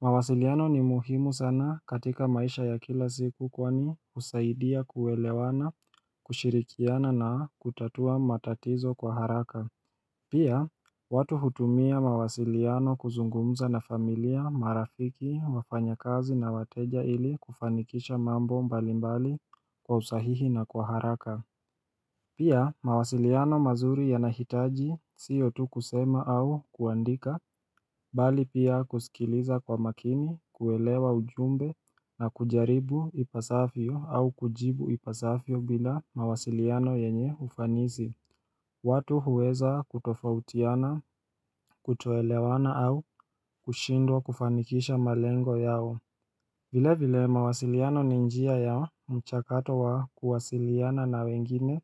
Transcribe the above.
mawasiliano ni muhimu sana katika maisha ya kila siku kwani husaidia kuelewana, kushirikiana na kutatua matatizo kwa haraka Pia, watu hutumia mawasiliano kuzungumza na familia marafiki wafanyakazi na wateja ili kufanikisha mambo mbalimbali kwa usahihi na kwa haraka. Pia, mawasiliano mazuri yanahitaji siyo tu kusema au kuandika, bali pia kusikiliza kwa makini, kuelewa ujumbe na kujaribu ipasafyo au kujibu ipasafyo bila mawasiliano yenye ufanisi. Watu huweza kutofautiana, kutoelewana au kushindwa kufanikisha malengo yao. Vile vile mawasiliano ni njia ya mchakato wa kuwasiliana na wengine